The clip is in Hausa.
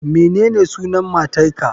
Menene sunan matar ka